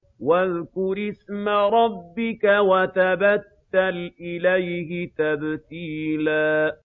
وَاذْكُرِ اسْمَ رَبِّكَ وَتَبَتَّلْ إِلَيْهِ تَبْتِيلًا